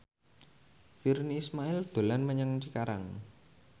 Virnie Ismail dolan menyang Cikarang